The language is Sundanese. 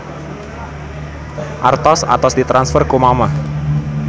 Artos atos ditransfer ku mamah